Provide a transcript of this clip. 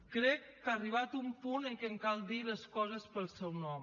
crec que ha arribat un punt en què cal dir les coses pel seu nom